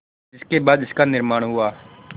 जिसके बाद इसका निर्माण हुआ